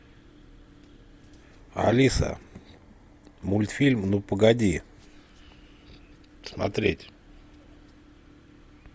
алиса мультфильм ну погоди смотреть